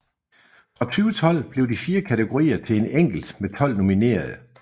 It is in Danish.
Fra 2012 blev de fire kategorier til en enkelt med 12 nominerede